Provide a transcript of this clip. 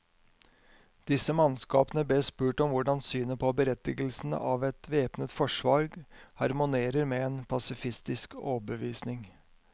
Disse mannskapene bes spurt om hvordan synet på berettigelsen av et væpnet forsvar harmonerer med en pasifistisk overbevisning.